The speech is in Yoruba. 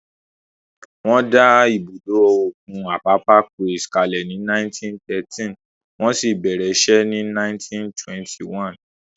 Wọ́n dá ibùdó òkun Apapa Quays kalẹ̀ ní 1913, wọ́n sì bẹ̀rẹ̀ iṣẹ́ ní ọdún 1921